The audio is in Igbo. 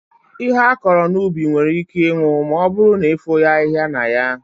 Ihe akọrọ n'ubi nwere íké ịnwụ ma ọbụrụ na efoghi ahịhịa na ya.